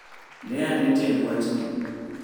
ne ane tiend wachni